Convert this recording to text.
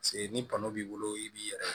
Se ni tɔnɔ b'i bolo i b'i yɛrɛ